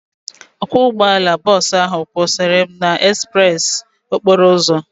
Ọkwọ ụgbọala bọọsu ahu kwụsara m n'ezpreesi okporo ụzọ